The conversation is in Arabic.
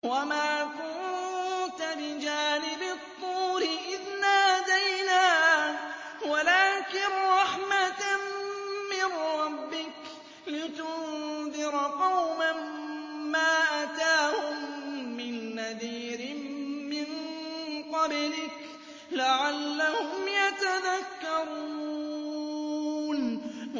وَمَا كُنتَ بِجَانِبِ الطُّورِ إِذْ نَادَيْنَا وَلَٰكِن رَّحْمَةً مِّن رَّبِّكَ لِتُنذِرَ قَوْمًا مَّا أَتَاهُم مِّن نَّذِيرٍ مِّن قَبْلِكَ لَعَلَّهُمْ يَتَذَكَّرُونَ